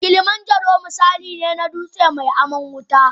Kilimanjaro misali ne na dutsen mai aman wuta.